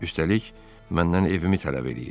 Üstəlik, məndən evimi tələb eləyir.